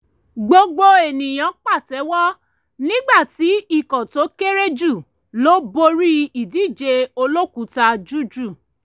gbogbo ènìyàn pàtẹ́wọ́ nígbàtí ikọ̀ tó kéré jù lọ borí ìdíje olókùúta jújù